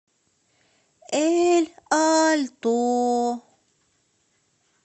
эль альто